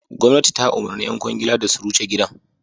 Gwamnati ta umarci ƴan ƙwangila da su rushe gidan.